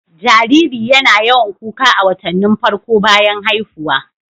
Jariri YAna yawan kuka a watannin farko bayan haihuwa